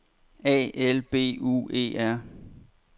A L B U E R